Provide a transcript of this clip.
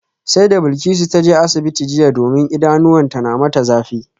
Sai da Bilkisu ta je asibitin jiya domin idanuwanta na mata zafi